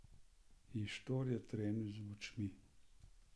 In štor je trenil z očmi!